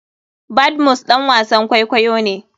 Badmus ɗan wasan kwakwayo ne.